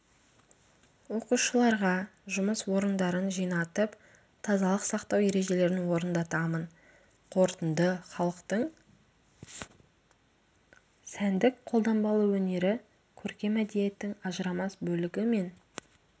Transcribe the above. оқушыларға жұмыс орындарын жинатып тазалық сақтау ережелерін орындатамын қорытынды халықтың сәндік-қолданбалы өнері-көркем мәдениеттің ажырамас бөлігі мен